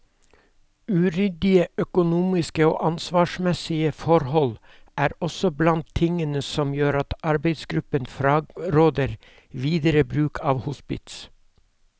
Uryddige økonomiske og ansvarsmessige forholdene er også blant tingene som gjør at arbeidsgruppen fraråder videre bruk av hospits.